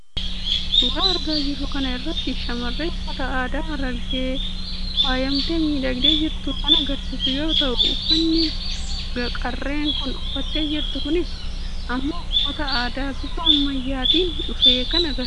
suuraa argaa jirru kana irratti shamarree uffata aadaa harargeen faayamtee miidhagdee jirtu kan agarsiisu yoo ta'u uffanni qarreen kun uffattee jirtu kunis immoo uffata aadaa bifa ammayyaa'aatiin dhufe kan agarsiisudha.